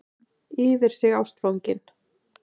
Yfir sig ástfangin.